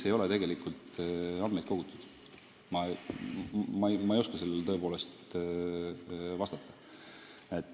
Ma ei oska sellele tõepoolest vastata.